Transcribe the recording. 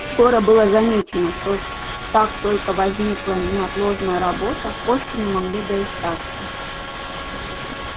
скоро было замечено что как только возникала неотложная работа кошки не могли доискаться